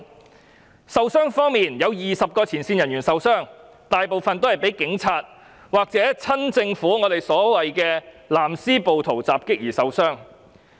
至於受傷人數方面，有20名前線人員受傷，大部分均是被警察或親政府人士襲擊而受傷。